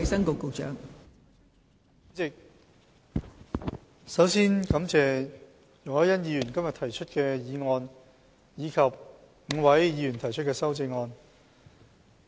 代理主席，我首先感謝容海恩議員今天提出這項議案及5位議員提出修正案。